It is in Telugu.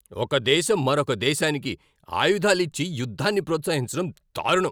ఒక దేశం మరొక దేశానికి ఆయుధాలు ఇచ్చి యుద్ధాన్ని ప్రోత్సహించడం దారుణం.